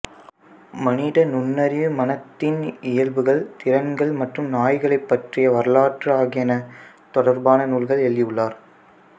மனித நுண்ணறிவு மனத்தின் இயல்புகள் திறன்கள் மற்றும் நாய்களைப் பற்றிய வரலாறு ஆகியன தொடர்பான நூல்கள் எழுதியுள்ளார்